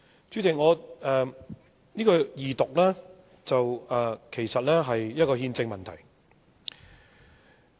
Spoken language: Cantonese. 這項二讀議案其實是一項憲政問題。